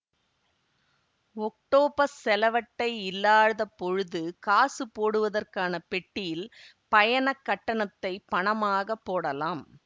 octopus செலவட்டை இல்லாதப் பொழுது காசு போடுவதற்கான பெட்டியில் பயணக் கட்டணத்தை பணமாகப் போடலாம்